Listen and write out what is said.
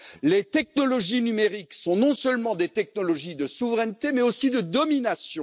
Les technologies numériques sont non seulement des technologies de souveraineté, mais aussi de domination.